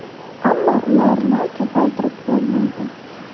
Ammo ularni ko‘paytirib bo‘lmaydi.